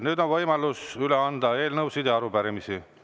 Nüüd on võimalus üle anda eelnõusid ja arupärimisi.